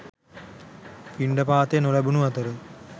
පිණ්ඩපාතය නොලැබුණු අතර